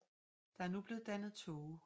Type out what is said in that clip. Der er nu blevet dannet tåge